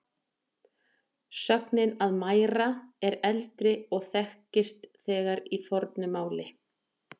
Sögnin að mæra er eldri og þekkist þegar í fornu máli.